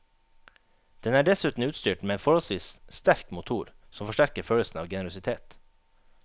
Den er dessuten utstyrt med en forholdsvis sterk motor som forsterker følelsen av generøsitet.